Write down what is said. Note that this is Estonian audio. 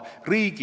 Heimar Lenk.